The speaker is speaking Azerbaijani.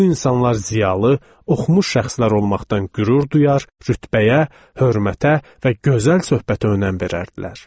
Bu insanlar ziyalı, oxumuş şəxslər olmaqdan qürur duyar, rütbəyə, hörmətə və gözəl söhbətə önəm verərdilər.